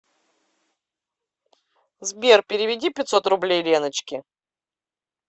сбер переведи пятьсот рублей леночке